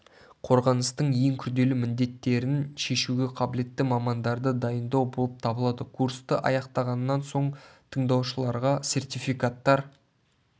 қорғаныстың ең күрделі міндеттерін шешуге қабілетті мамандарды дайындау болып табылады курсты аяқтағаннан соң тыңдаушыларға сертификаттар